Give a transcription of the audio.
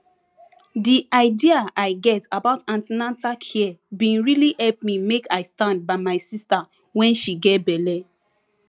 the idea i get about an ten atal care bin really help me make i stand by my sister when she get belle